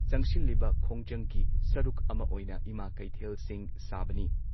ꯆꯪꯁꯤꯜꯂꯤꯕ ꯈꯣꯡꯖꯪꯒꯤ ꯁꯔꯨꯛ ꯑꯃ ꯑꯣꯏꯅ ꯏꯃꯥ ꯀꯩꯊꯦꯜꯁꯤꯡ ꯁꯥꯕꯅꯤ ꯫